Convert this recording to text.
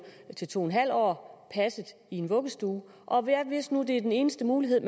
til to en halv år passet i en vuggestue og hvis nu det er den eneste mulighed